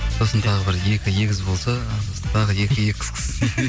сосын тағы бір екі егіз болса тағы екі